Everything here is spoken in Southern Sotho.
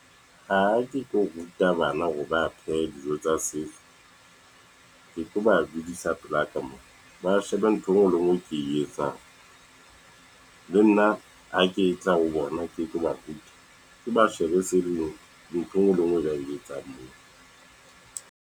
Ha ke tlo ruta bana hore ba phehe dijo tsa setso, ke tlo ba budisa pelaka mona, ba shebe ntho engwe le engwe e ke e etsang, le nna ha ke tla ho bona, ke tlo ba ruta, ke ba shebe . Ntho enngwe le enngwe e ba e etsang moo.